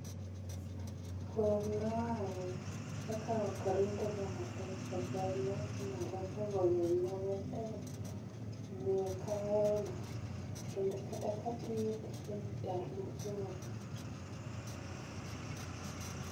Kwer noae, kaka ok rinde ga matek cha kwer noa malo bogoyo wiya matek. Omiyo ok ahero ga, kendo kata katiyo tijni taluor